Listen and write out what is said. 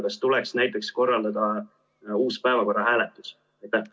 Kas tuleks näiteks korraldada uus päevakorra hääletus?